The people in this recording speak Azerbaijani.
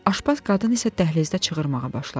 Aşpaz qadın isə dəhlizdə çığırmağa başladı.